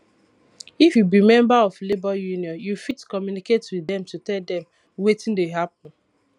if you be member of labour union you fit communicate with dem to tell dem wetin dey happen